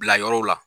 Bila yɔrɔw la